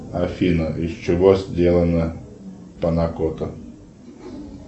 афина из чего сделана панакота